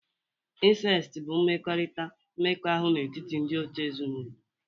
Insesti bụ mmekọrịta mmekọahụ n'etiti ndị òtù ezinụlọ.